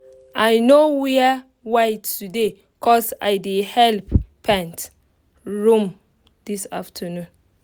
i no wear white today cos i dey help paint room this afternoon